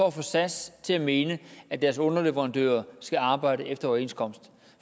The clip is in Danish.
at få sas til at mene at deres underleverandører skal arbejde efter overenskomsten